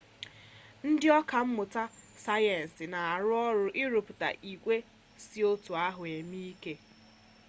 ndị ọka mmụta sayensị na-arụ ọrụ ịrụpụta igwe si oti ahụ eme ike